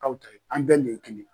an bɛɛ le ye kelen.